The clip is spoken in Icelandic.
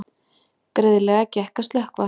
Greiðlega gekk að slökkva